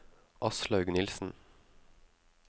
Aslaug Nilssen